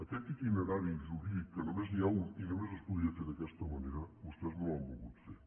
aquest itinerari jurídic que només n’hi ha un i només es podia fer d’aquesta manera vostès no l’han volgut fer